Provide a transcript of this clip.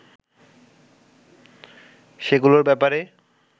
সেগুলোর ব্যাপারে